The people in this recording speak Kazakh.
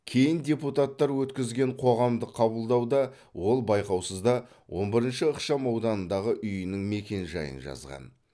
кейін депутаттар өткізген қоғамдық қабылдауда ол байқаусызда он бірінші ықшам аудандағы үйінің мекенжайын жазған